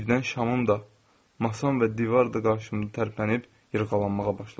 Birdən şamım da, masam və divar da qarşımda tərpənib yırğalanmağa başladı.